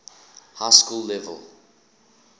high school level